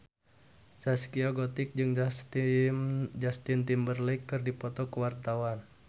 Zaskia Gotik jeung Justin Timberlake keur dipoto ku wartawan